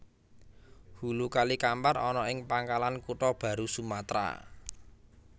Hulu Kali Kampar ana ing Pangkalan Kutha Baru Sumatra